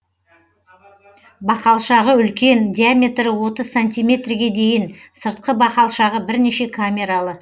бақалшағы үлкен диаметрі отыз сантиметрге дейін сыртқы бақалшағы бірнеше камералы